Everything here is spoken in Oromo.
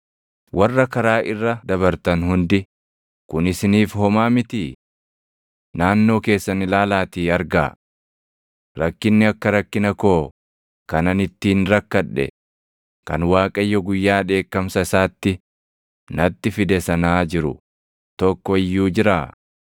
“Warra karaa irra dabartan hundi, kun isiniif homaa mitii? Naannoo keessan ilaalaatii argaa. Rakkinni akka rakkina koo kan ani ittiin rakkadhe, kan Waaqayyo guyyaa dheekkamsa isaatti natti fide sanaa jiru tokko iyyuu jiraa?